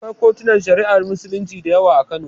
Akwai kotunan Shari'ar Musulunci da yawa a Kano.